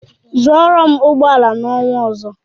Zụorụ m ụgbọ ala n'ọnwa ọzọ!